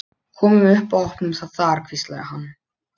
Komum upp og opnum það þar hvíslaði hann.